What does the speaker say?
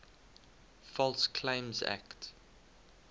false claims act